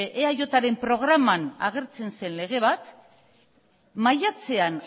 eajren programan agertzen zen lege bat maiatzean